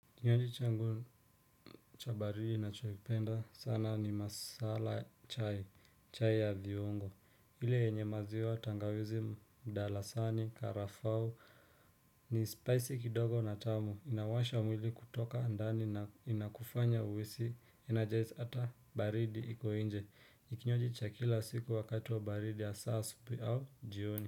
Kinywaji changu cha baridi na choipenda sana ni masala chai chai ya viungo ile yenye maziwa tangawizi mdalasani karafau ni spicy kidogo na tamu inawasha mwili kutoka ndani na inakufanya uwesi energize hata baridi iko inje ni kinywaji cha kila siku wakati wa baridi hasa asubuhi au jioni.